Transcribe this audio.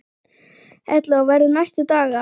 Erla: Og verður næstu daga?